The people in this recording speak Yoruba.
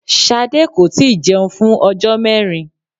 Sade kò láti jeun fún ojó mérin